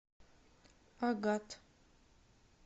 агат